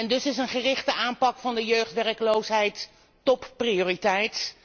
Dus is een gerichte aanpak van de jeugdwerkloosheid topprioriteit